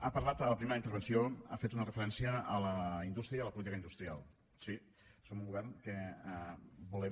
ha parlat a la primera intervenció ha fet una referència a la indústria i a la política industrial sí som un govern que volem